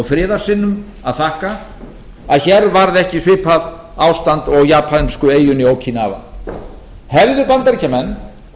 friðarsinnum að þakka að hér varð ekki svipað ástand og á japönsku eyjunni jókínava hefðu bandaríkjamenn